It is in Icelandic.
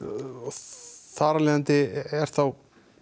þar af leiðandi er þá